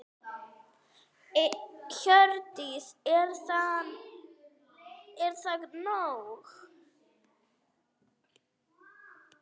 Hjördís: Er það nóg?